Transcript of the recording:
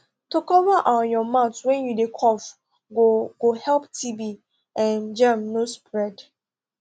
to cover um your mouth when you dey cough go go help tb um germ no spread